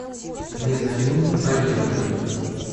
мезонин поехали